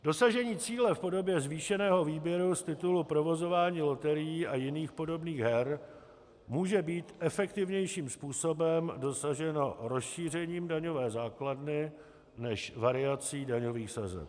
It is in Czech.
Dosažení cíle v podobě zvýšeného výběru z titulu provozování loterií a jiných podobných her může být efektivnějším způsobem dosaženo rozšířením daňové základny než variací daňových sazeb.